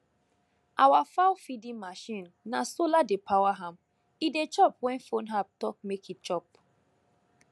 our fowlfeeding machine na solar dey power am e dey chop when phone app talk make e chop